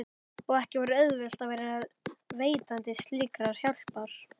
Og ekki var auðvelt að vera veitandi slíkrar hjálpar.